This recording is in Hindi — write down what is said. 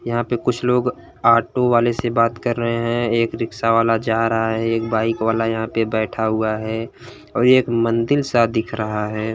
यहाँ पे कुछ लोग ऑटो वाले से बात कर रहे हैं। एक रिक्शा वाला जा रहा है एक बाइक वाला यहाँं पे बैठा हुआ है औ ये एक मंदिल सा दिख रहा है।